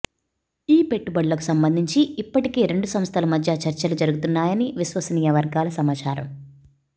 ఈ పెట్టుబడులకు సంబంధించి ఇప్పటికే రెండు సంస్థల మధ్య చర్చలు జరుగుతున్నాయని విశ్వసనీయ వర్గాల సమాచారం